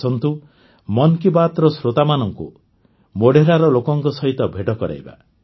ଆସନ୍ତୁ ମନ୍ କି ବାତ୍ର ଶ୍ରୋତାମାନଙ୍କୁ ମୋଢେରାର ଲୋକଙ୍କ ସହିତ ଭେଟ କରାଇବା